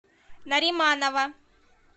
нариманова